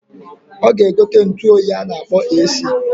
Oga egote ntuoyi a na-akpọ AC.